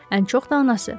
Ən çox da anası.